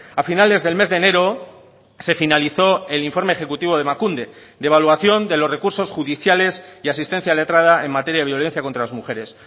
a finales del mes de enero se finalizó el informe ejecutivo de emakunde de evaluación de los recursos judiciales y asistencia letrada en materia de violencia contra las mujeres